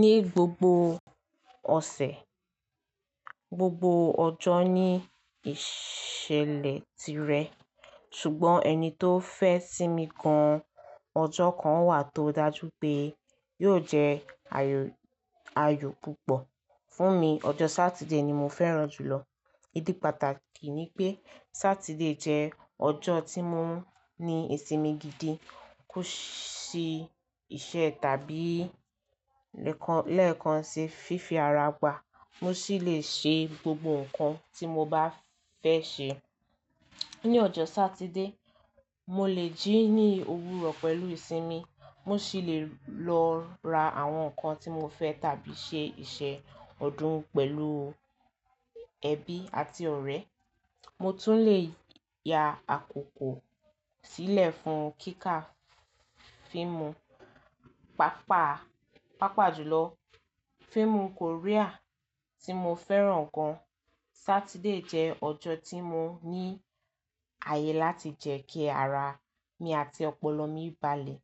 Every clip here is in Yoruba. Ni gbogbo ọ̀sẹ̀, gbogbo ọjọ́ ní ìṣẹ̀lẹ̀ tirẹ̀ ṣùgbọ́n ẹni tó fẹ́ sími gan, ọjọ́ kan wà tó dájú pé yóò jẹ́ ayò púpọ̀ fún mi. Ọjọ́ Saturday ni mo fẹ́ràn jù lọ. Ídí pàtàkì ni pé Saturday jẹ́ ọjọ́ tí mo ń ní ìsinmi gidi, kò sí iṣẹ́ tàbí lèkan lẹ́ẹ̀kan ṣe fífi ara gbà. Mo sì le ṣe gbogbo nǹkan tí mo bá fẹ́ ṣe. Ní ọjọ́ Saturday, mo lè jí ní òwúrọ̀ pẹ̀lú ìsinmi, mo sì le lọ ra àwọn nǹkan tí mo fẹ́ tàbí ṣe iṣẹ́ ọdún pẹ̀lú ẹbí àti ọ̀rẹ́. Mo tún le ya àkókò sílẹ̀ fún kíkà fíìmù, pàápàá, pàápàá jùlọ fíìmù Korea tí mo fẹ́ràn gan. Saturday jẹ́ ọjọ́ tí mo ní ààyè láti jẹ ki ara mi àti ọpọlọ mi balẹ̀,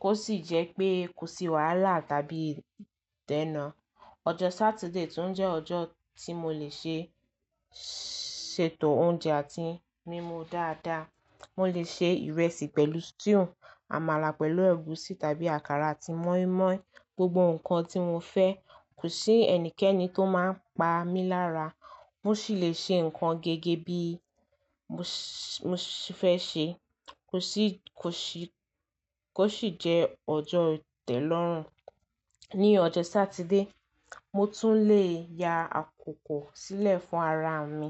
kó sì jẹ́ pé kò sí wàhálà tàbí ìdènà. Ọjọ́ Saturday tún jẹ́ ọjọ́ tí mo lè ṣe ṣètò oúnjẹ àti mímu dáadáa. Mo lè ṣe ìrẹsì pẹ̀lú stew, àmàlà pẹ̀lú ẹ̀gúsí tàbí àkàrà àti moinmoin, gbogbo nǹkan tí mo fẹ́. Kò sí ẹnikẹ́ni tó máa ń pa mí lára. Mo sì le ṣe nǹkan gẹ́gẹ́ bí mo fẹ́ ṣe, kò sì, kò sì, kò sì jẹ́ ọjọ́ ìtẹ̀lọ́rùn. Ní ọjọ́ Saturday, mo tún le ya àkókò sílẹ̀ fún ara mi.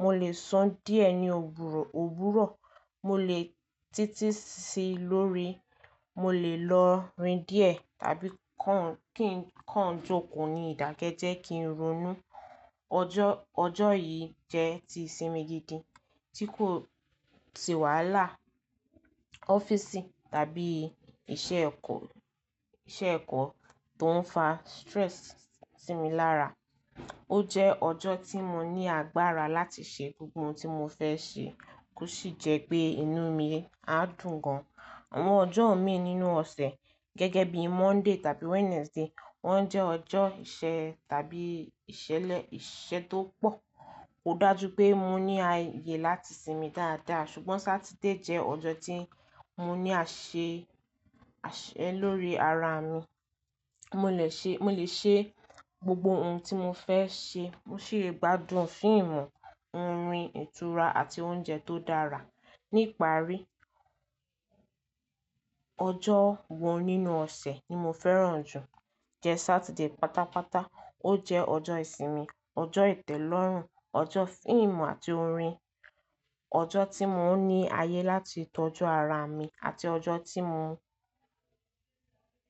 Mo lè san díẹ̀ ní òwúrọ̀, òwúrọ̀ mo lè títí sí lórí, mo lè lọ rin díẹ̀ tàbí kàn kí n kàn jòkó ní ìdákẹ́ jẹ́ kí n ronú. Ọjọ́, ọjọ́ yìí jẹ́ ti ìsinmi gidi tí kò sì wàhálà ọ́fíìsì tàbí iṣẹ́ ẹ̀kọ́, iṣẹ́ ẹ̀kọ́ tó ń fa stress sí mi lára. Ó jẹ́ ọjọ́ tí mo ní agbára láti ṣe gbogbo ohun tí mo fẹ́ ṣe, kò sì jẹ́ pé inú mi á dùn gan-an. Àwọn ọjọ́ mi nínú ọ̀sẹ̀ gẹ́gẹ́ bí Monday tàbí Wednesday wọ́n jẹ́ ọjọ́ ìṣe tàbí ìṣẹ̀lẹ̀ ìṣe tó pọ̀. Kò dájú pé mo ní ààyè láti sinmi dáadáa, ṣùgbọ́n Saturday jẹ́ ọjọ́ tí mo ní àṣẹ, àṣẹ lórí ara mi. Mo lè ṣe, mo lè ṣe gbogbo ohun tí mo fẹ́ ṣe. Mo sì lè gbádùn fíìmù, orin, ìtura àti oúnjẹ tó dára. Ní ìparí, ọjọ́ kan nínú ọ̀sẹ̀ ni mo fẹ́ràn jù, jẹ Saturday pátápátá. Ó jẹ́ ọjọ́ ìsinmi, ọjọ́ ìtẹ̀lọ́rùn, ọjọ́ fíìmù àti orin, ọjọ́ tí mo ń ní ààyè láti tọ́jú ara mi àti ọjọ́ tí mo,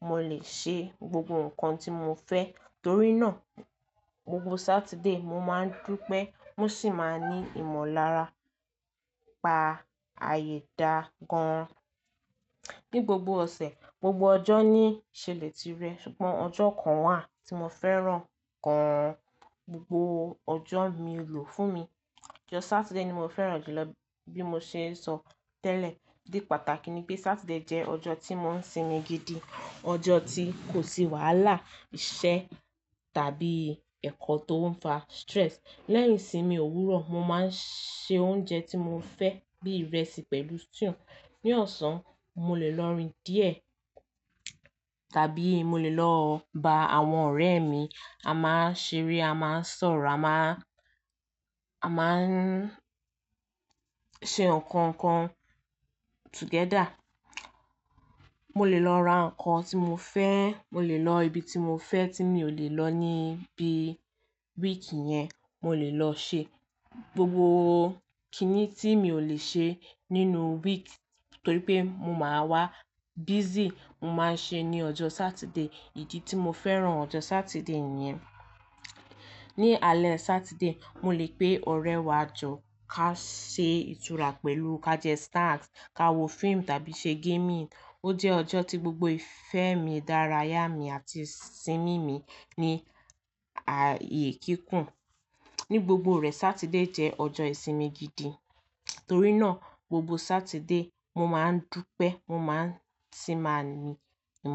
mo lè ṣe gbogbo nǹkan tí mo fẹ́. Torí náà gbogbo Saturday mo máa ń dúpẹ́, mo sì máa ní ìmọ̀lára, pa àyè dá gan-an. Ní gbogbo ọ̀sẹ̀, gbogbo ọjọ́ ní ìṣẹ̀lẹ̀ tirẹ̀ ṣùgbọ́n ọjọ́ kan wà tí mo fẹ́ràn gan-an. Gbogbo ọjọ́ mi lò fún mi. Ọjọ́ Saturday ni mo fẹ́ràn jù lọ. Bí mo ṣe sọ tẹ́lẹ̀, ìdí pàtàkì ni pé Saturday jẹ́ ọjọ́ tí mo ń sinmi gidi, ọjọ́ tí kò sí wàhálà, iṣẹ́ tàbí ẹ̀kọ́ tó ń fa stress. Lẹ́yìn ìsinmi òwúrọ̀, mo máa ń se oúnjẹ tí mo fẹ́ bí ìrẹsì pẹ̀lú stew. Ní ọ̀sán, mo lè lọ rin díẹ̀ tàbí mo lè lọ bá àwọn ọ̀rẹ́ mi, a máa ń ṣeré, a máa ń sọ̀rọ̀, a máa ń, a máa ń ṣe nǹkan kan together. Mo lè lọ ra nǹkan tí mo fẹ́, mo lè lọ ibi tí mo fẹ́ tí mi ò lè lọ níbí week yẹn, mo lè lọ ṣe. Gbogbo kíni tí mi ò lè ṣe nínú week torí pé mo máa wá busy, mo máa ṣe ní ọjọ́ Saturday. Ìdí tí mo fẹ́ràn ọjọ́ Saturday nìyẹn. Ní alẹ́ Saturday, mo lè pe ọ̀rẹ́ wa jọ ká ṣe ìtura pẹ̀lú, ká jẹ snacks, ka wo fíìmù tàbí ṣe gaming. Ó jẹ́ ọjọ́ tí gbogbo ìfẹ́ mi dárayá mi àti ìsinmi mi ní ààyè kíkun. Ní gbogbo rẹ̀, Saturday jẹ́ ọjọ́ ìsinmi gidi. Torí náà gbogbo Saturday mo máa ń dúpẹ́, mo máa sì máa ní.